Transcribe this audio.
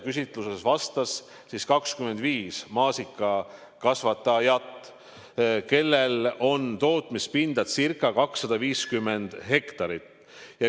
Küsitlusele vastas 25 maasikakasvatajat, kellel on tootmispinda ca 250 hektarit.